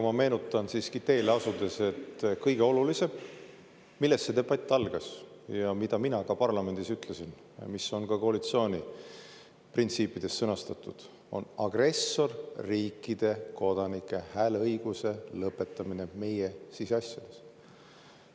Ma meenutan siiski teele asudes, et kõige olulisem – millest see debatt algas, mida mina ka parlamendis ütlesin ja mis on ka koalitsiooni printsiipides sõnastatud – on agressorriikide kodanike hääleõiguse lõpetamine meie siseasjades.